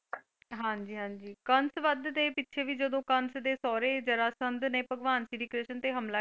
ਹਾਂਜੀ ਹਾਂਜੀ ਕੰਸ ਵੱਧ ਦੇ ਪਿੱਛੇ ਵੀ ਜਦੋਂ ਕੰਸ ਦੇ ਸੋਹਰੇ ਜਰਾਸੰਧ ਨੇ ਭਗਵਾਨ ਸ਼੍ਰੀ ਕ੍ਰਿਸ਼ਨ ਤੇ ਹਮਲਾ,